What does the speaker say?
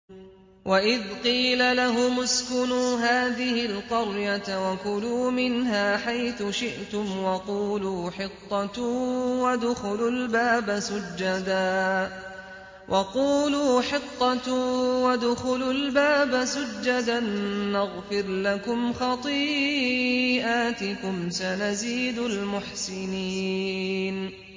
وَإِذْ قِيلَ لَهُمُ اسْكُنُوا هَٰذِهِ الْقَرْيَةَ وَكُلُوا مِنْهَا حَيْثُ شِئْتُمْ وَقُولُوا حِطَّةٌ وَادْخُلُوا الْبَابَ سُجَّدًا نَّغْفِرْ لَكُمْ خَطِيئَاتِكُمْ ۚ سَنَزِيدُ الْمُحْسِنِينَ